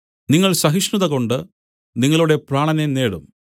നിങ്ങൾ സഹിഷ്ണതകൊണ്ട് നിങ്ങളുടെ പ്രാണനെ നേടും